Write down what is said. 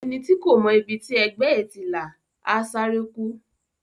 Ẹni tí kò mọ ibi tí ẹgbẹ́ ẹ̀ ti là, á sáré kú.